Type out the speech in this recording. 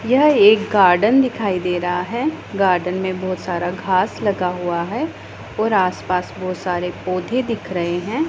यह एक गार्डन दिखाई दे रहा है गार्डन में बहुत सारा घास लगा हुआ है और आसपास बहुत सारे पौधे दिख रहे हैं।